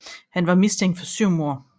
Han var mistænkt for syv mord